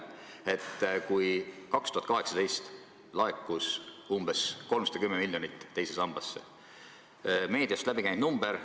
2018. aastal laekus teise sambasse 310 miljonit eurot – see on meediast läbi käinud number.